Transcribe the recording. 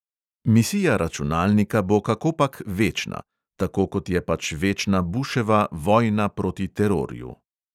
Misija računalnika bo kakopak večna – tako kot je pač večna buševa "vojna proti terorju".